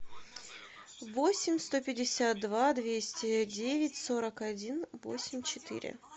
восемь сто пятьдесят два двести девять сорок один восемь четыре